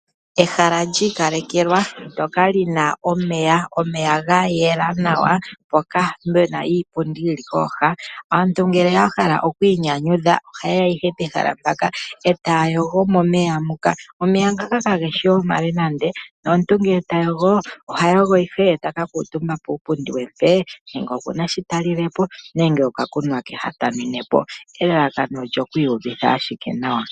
Ehala lyi ikalekelwa ndjoka lina omeya . Omeya gayela nawa ngoka pena iipundi yili kooha aantu ngele ya hala oku inyanyudha oha yeya ihe pehala mpaka etaya yogo momeya muka. Omeya ngaka kageshi omale nande ,nomuntu ngele ta yogo oha yogo ihe eta ka kuutumba puupundi wuli mpee nenge okuna sho talilepo nokakunwa ke ha talilepo elalakano olyo ku iyuvitha nawa.